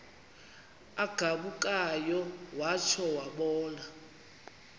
agabukayo watsho wabona